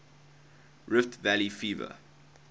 rift valley fever